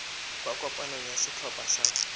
kwa kopanong ya setlhopha sa